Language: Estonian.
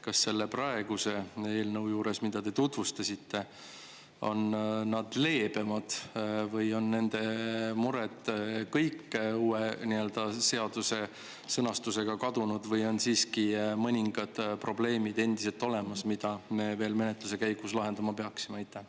Kas selle praeguse eelnõu juures, mida te tutvustasite, on nad leebemad või on nende mured kõik uue seaduse sõnastusega kadunud või on siiski mõningad probleemid endiselt olemas, mida me veel menetluse käigus lahendama peaksime?